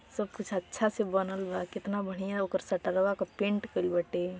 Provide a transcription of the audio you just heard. सबकुछ अच्छा से बनल बा। केतना बढ़िया ओकर शटरवा क पेंट कईल बाटे।